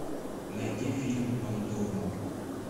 найди фильм пандорум